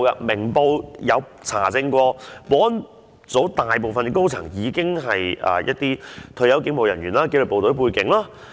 《明報》有查證過，物業及保安組大部分高層都是一些退休警務人員或具紀律部隊背景。